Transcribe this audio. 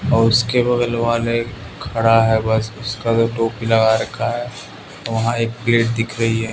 और उसके बगल वाले खड़ा है बस उसका जो टोपी लगा रखा है वहां एक पेड़ दिख रही है।